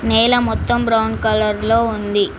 నేల మొత్తం brown colour లో ఉంది.